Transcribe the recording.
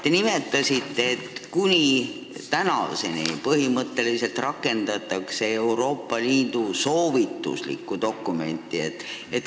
Te nimetasite, et tänaseni on põhimõtteliselt rakendatud soovituslikku Euroopa Liidu dokumenti.